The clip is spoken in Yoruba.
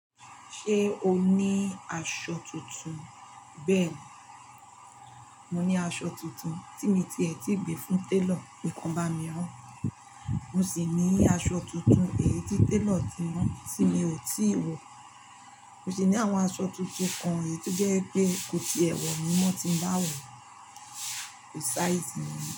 Ṣé o ní aṣọ tuntun? Bẹ́ẹ̀ni, mo ní aṣọ tuntun tí mi ti ètí gbé fún télọ̀ pe kan bá mi rán. Mo sì ní aṣọ tuntun èyí tí télọ̀ ti rán tí mi ò tíì wọ. Mo sì ní àwọn aṣọ tuntun kan èyí tó jẹ́ pé kò ti è wọ̀ ni wọ́n ti ń bá wọ̀ ko size mi.